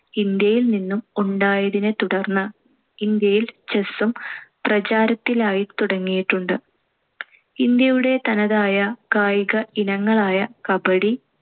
ഇന്ത്യയിൽ നിന്നും ഉണ്ടായതിനെത്തുടർന്ന് ഇന്ത്യയിൽ chess ഉം പ്രചാരത്തിലായിത്തുടങ്ങിയിട്ടുണ്ട്. ഇന്ത്യയുടെ തനതായ കായിക ഇനങ്ങളായ kabaddi,